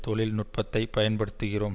தொழில் நுட்பத்தை பயன்படுத்துகிறோம்